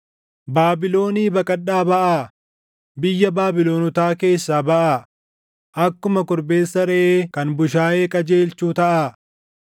“Baabilonii baqadhaa baʼaa; biyya Baabilonotaa keessaa baʼaa; akkuma korbeessa reʼee kan bushaayee qajeelchuu taʼaa.